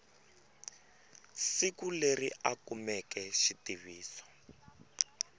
siku leri a kumeke xitiviso